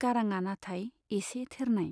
गाराङा नाथाय एसे थेरनाय।